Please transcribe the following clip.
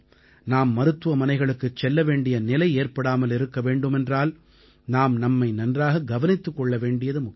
நாம் மருத்துவமனைகளுக்குச் செல்ல வேண்டிய நிலை ஏற்படாமல் இருக்க வேண்டுமென்றால் நாம் நம்மை நன்றாக கவனித்துக் கொள்ள வேண்டியது முக்கியம்